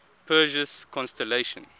perseus constellation